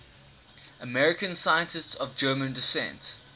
american scientists of german descent